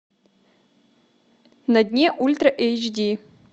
на дне ультра эйч ди